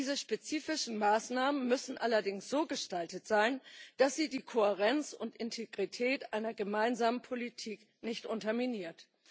Diese spezifischen Maßnahmen müssen allerdings so gestaltet sein, dass sie die Kohärenz und Integrität einer gemeinsamen Politik nicht unterminieren.